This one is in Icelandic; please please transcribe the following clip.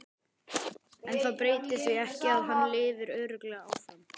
En það breytir því ekki að hann lifir örugglega áfram.